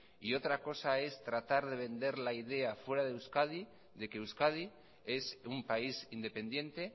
y otra cosa es tratar de vender la idea fuera de euskadi de que euskadi es un país independiente